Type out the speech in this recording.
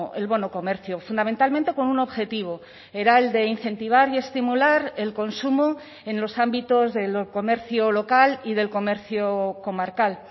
el bono comercio fundamentalmente con un objetivo era el de incentivar y estimular el consumo en los ámbitos del comercio local y del comercio comarcal